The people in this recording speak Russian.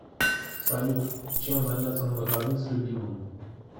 салют чем заняться на выходных с любимым